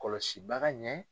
Kɔlɔsi baga ɲɛ.